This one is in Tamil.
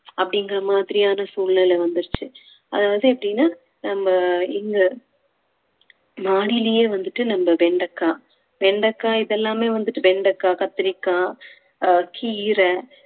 அப்படிங்கிற மாதிரியான சூழ்நிலை வந்துருச்சு அதாவது எப்படின்னா நம்ம இங்க மாடியிலேயே வந்துட்டு நம்ம வெண்டைக்காய் வெண்டைக்காய் இதெல்லாமே வந்துட்டு வெண்டைக்காய் கத்திரிக்காய் அஹ் கீரை